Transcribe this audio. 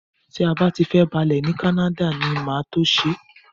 Tí a bá ti fẹ́ balẹ̀ ní Canada ni màá tó ṣe é